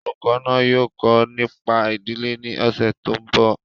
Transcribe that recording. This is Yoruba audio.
Olùkọ́ náà yóò kọ́ nípa ìdílé ní ọ̀sẹ̀ tó ń bọ̀